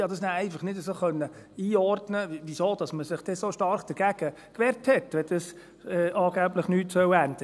Ich konnte nachher einfach nicht so einordnen, wieso man sich denn so stark dagegen gewehrt hat, wenn es angeblich nichts ändern soll.